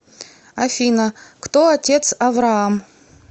афина кто отец авраам